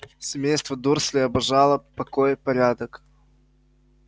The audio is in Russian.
семейство дурслей обожало покой и порядок